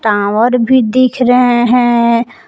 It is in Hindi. आंवर भी देख रहे हैं।